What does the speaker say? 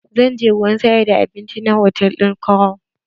Zan je wurin sayar da abinci na hotal ɗin crown.